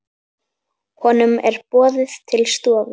Honum er boðið til stofu.